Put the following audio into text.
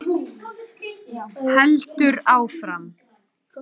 Heldur áfram: